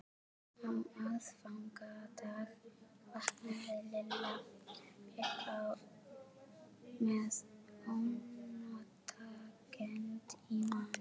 Á aðfangadag vaknaði Lilla upp með ónotakennd í maganum.